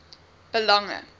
belange